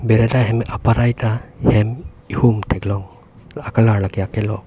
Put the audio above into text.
Berenda hem parai ta hem ehum thek long a colour la ke akilok.